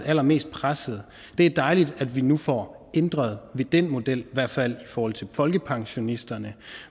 allermest presset det er dejligt at vi nu får ændret den model i hvert fald i forhold til folkepensionisterne